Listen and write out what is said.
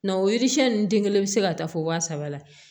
Nga o yiri siɲɛ nunnu den kelen bɛ se ka taa fɔ waa saba la